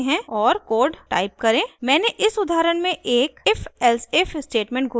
मैंने इस उदाहरण में एक ifelsif स्टेटमेंट घोषित किया है